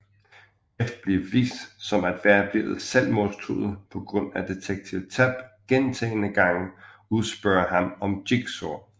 Jeff bliver vist som at være blevet selvmordstruet på grund af Detektiv Tapp gentagne gange udspørger ham om Jigsaw